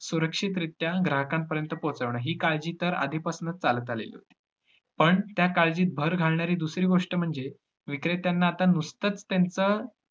सुरक्षितरित्या ग्राहकांपर्यंत पोहचवणं ही काळजी तर आधी पासनच चालत आलेली होती. पण त्या काळजीत भर घालणारी दुसरी गोष्ट म्हणजे विक्रेत्यांना आता नुसतच त्यांच